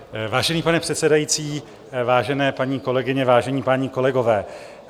Vážený pane předsedající, vážené paní kolegyně, vážení páni kolegové.